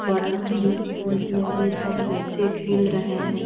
बड़ा जिस फील्ड में दो-चार बच्चे खेल रहे है।